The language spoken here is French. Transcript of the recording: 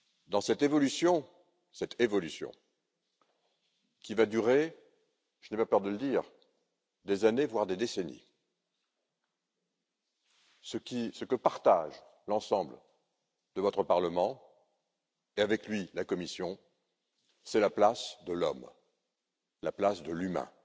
Dans cette évolution cette évolution qui va durer, je n'ai pas peur de le dire, des années, voire des décennies, je retiens que ce que partage l'ensemble de votre parlement, et avec lui la Commission, c'est la place de l'homme, la place de l'humain,